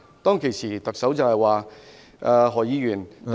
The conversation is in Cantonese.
當時特首說，何議員，第一......